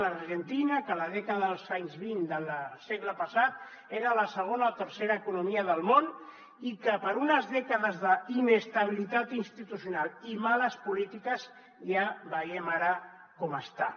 l’argentina que a la dècada dels anys vint del segle passat era la segona o tercera economia del món i que per unes dècades d’inestabilitat institucional i males polítiques ja veiem ara com està